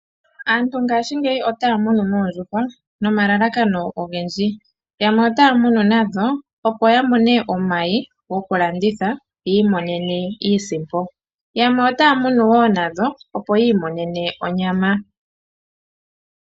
Aantu ngaashingeyi otaya munu oondjuhwa nomalalakano ogendji . Yamwe otaya munu nadho opo ya mone omayi goku landitha yi imonene iisimpo . Yamwe otaya munu woo nadho opo yi imonene onyama.